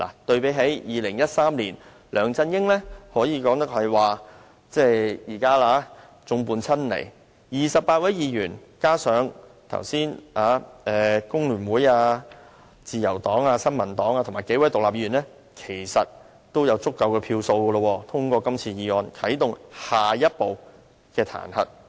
對比2013年，梁振英現時可謂眾叛親離 ，28 位議員加上剛才工聯會、自由黨、新民黨，以及數位獨立議員，其實已經有足夠票數通過今次議案，啟動彈劾程序的下一步。